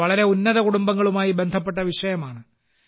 ഇത് വളരെ ഉന്നത കുടുംബങ്ങളുമായി ബന്ധപ്പെട്ട വിഷയമാണ്